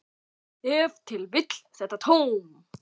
Ef til vill þetta tóm.